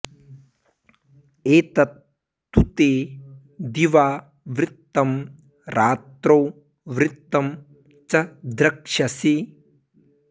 एतत् तु ते दिवा वृत्तं रात्रौ वृत्तं च द्रक्ष्यसि